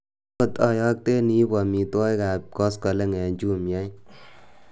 tot oyokten iibu omitwogik ab koskoleng en jumia ii